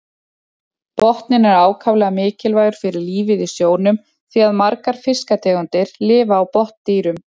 Botninn er ákaflega mikilvægur fyrir lífið í sjónum því að margar fiskategundir lifa á botndýrum.